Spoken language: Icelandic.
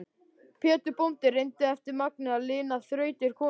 Pétur bóndi reyndi eftir megni að lina þrautir konu sinnar.